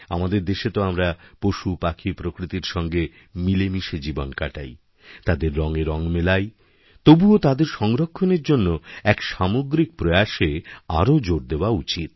আমাদের দেশে তো আমরা পশুপাখিপ্রকৃতিরসঙ্গে মিলে মিশে জীবন কাটাই তাদের রঙে রঙ মেলাই তবুও তাদের সংরক্ষণের জন্য একসামগ্রিক প্রয়াসে আরও জোর দেওয়া উচিত